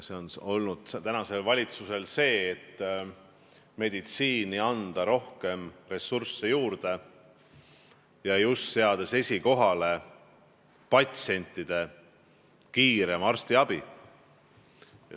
See on olnud tänasel valitsusel see, et meditsiini tuleb anda rohkem ressursse juurde, seades esikohale just selle, et patsiendid kiiremini arstiabi saaksid.